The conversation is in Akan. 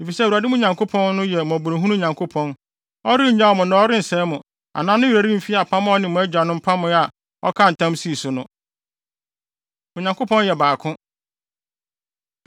Efisɛ Awurade, mo Nyankopɔn, no yɛ mmɔborɔhunu Nyankopɔn; ɔrennyaw mo na ɔrensɛe mo anaa ne werɛ remfi apam a ɔne mo agyanom pamee a ɔkaa ntam sii so no. Onyankopɔn Yɛ Baako